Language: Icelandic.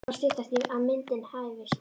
Nú fór að styttast í að myndin hæfist.